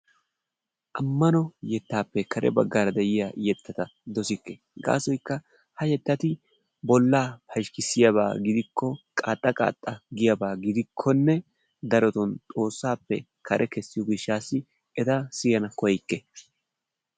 Ammano yettappe kare baggaara diyaa yetta ta dossikke gaasoykka ha yettati bolla pashkkissiyaaba gidiko, qaaxxa qaaxxa giyaaba gidikkonne daroton Xoossaappe kare kessiyo gishshaassi eta siyana koyikke.